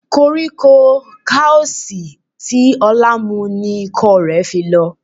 Koríko kausi tí Ọlá mu ni ikọ́ rẹ̀ fi lọ.